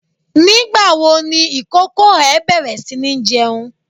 Nígbà wo ni ìkókó ẹ bẹ̀rẹ̀ si ní jẹun?